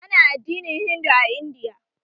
Ana addinin Hindu a Indiya